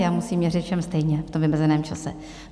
Já musím měřit všem stejně v tom vymezeném čase.